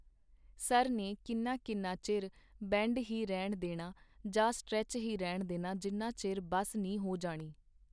Sir ਨੇ ਕਿੰਨਾ ਕਿੰਨਾ ਚਿਰ ਬੈਂਡ ਹੀ ਰਹਿਣ ਦੇਣਾ ਜਾਂ ਸੱਟਰੈਚ ਹੀ ਰਹਿਣ ਦੇਣਾ ਜਿਨਾ ਚਿਰ ਬੱਸ ਨੀ ਹੋ ਜਾਣੀ.